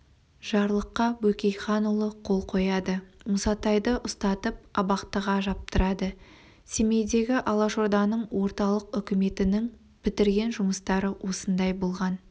жарлыққа бөкейханұлы қол қояды мұсатайды ұстатып абақтыға жаптырады семейдегі алашорданың орталық үкіметінің бітірген жұмыстары осындай болған